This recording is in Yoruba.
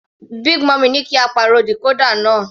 Big mummy ní kí á pàrọ̀ decorder náà.